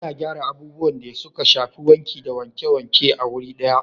Ana gyara abubuwan da suka shafi wanki da wanke-wanke a wuri daya